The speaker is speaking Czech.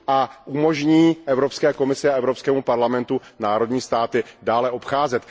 A umožní Evropské komisi a Evropskému parlamentu členské státy dále obcházet.